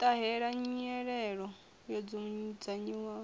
i ṱahela nyelelo yo dzudzanyiwaho